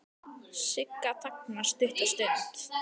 Sigga þagnar stutta stund.